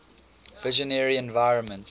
visionary environments